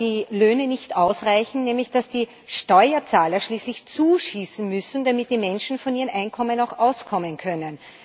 dass die Löhne nicht ausreichen, nämlich, dass die Steuerzahler schließlich zuschießen müssen, damit die Menschen mit ihren Einkommen auch auskommen können.